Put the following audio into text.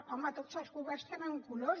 home tots els governs tenen colors